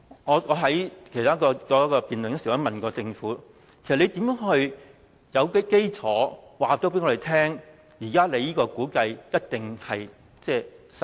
我之前曾問政府，如何訂定基礎？它現在的估計一定能實現？